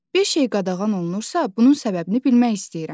Bir şey qadağan olunursa, bunun səbəbini bilmək istəyirəm.